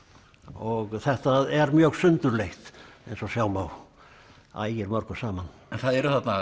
og þetta er mjög sundurleitt eins og sjá má ægir mörgu saman en það eru þarna